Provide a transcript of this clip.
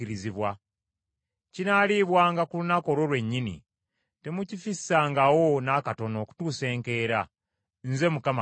Kinaalibwanga ku lunaku olwo lwennyini, temukifissangawo n’akatono okutuusa enkeera. Nze Mukama Katonda.